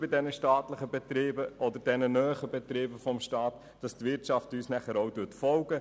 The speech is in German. Die staatlichen oder staatsnahen Betriebe sollen für die Wirtschaft eine Vorbildfunktion erfüllen.